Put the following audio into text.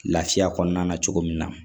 Lafiya kɔnɔna na cogo min na